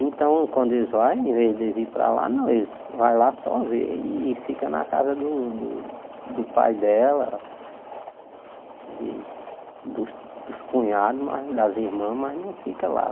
Então, quando eles vão, em vez de ir para lá, não eles vão lá só ver e ficam na casa do do pai dela, dos dos cunhados, mais das irmãs, mas não ficam lá.